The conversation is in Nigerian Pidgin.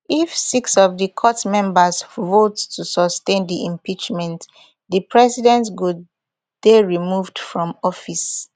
if six of di court members vote to sustain di impeachment di president go dey removed from office